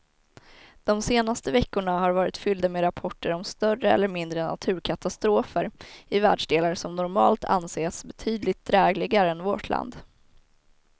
De senaste veckorna har varit fyllda med rapporter om större eller mindre naturkatastrofer i världsdelar som normalt anses betydligt drägligare än vårt land.